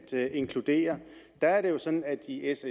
inkludere er det jo sådan at i s